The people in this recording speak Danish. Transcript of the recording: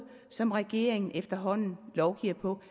som regeringen efterhånden lovgiver på